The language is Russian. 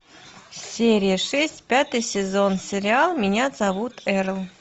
серия шесть пятый сезон сериал меня зовут эрл